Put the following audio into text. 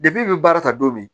i bɛ baara ta don min